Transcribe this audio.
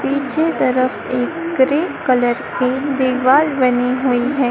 पीछे तरफ एक ग्रे कलर की दीवार बनी हुई है।